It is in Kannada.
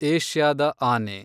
ಏಷ್ಯಾದ ಆನೆ